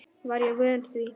Var ég vön því?